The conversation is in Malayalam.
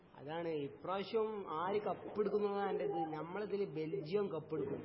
അതാണ് ഇപ്രാവശ്യം ആര് കപ്പെടുക്കും എനനുള്ളതാണ് എന്റെ ഇത് ഞമ്മളെതില് ബെൽജിയം കപ്പെടുക്കും